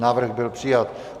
Návrh byl přijat.